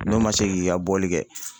N'o man se k'i ka bɔli kɛ